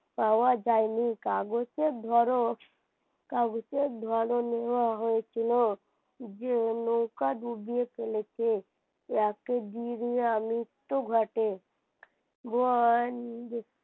পাওয়া যায়নি কাগজে ধরো কাগজে ধরো নেওয়া হয়েছিল যে নৌকা ডুবিয়ে ফেলেছে তাদের বিরিয়া মৃত্যু ঘটে, ভয়ান